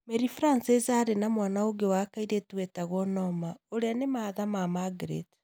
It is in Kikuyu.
Mary Francis arĩ na mwana ũngĩ wa kairĩtu wetagwo Norma, ũrĩa ni mahatha na Margaret.